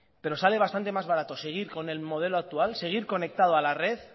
pero sale bastante más barato seguir con el modelo actual seguir conectado a la red